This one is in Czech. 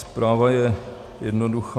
Zpráva je jednoduchá.